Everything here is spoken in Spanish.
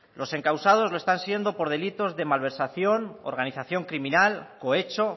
los encausados lo están siendo por delitos de malversación organización criminal cohecho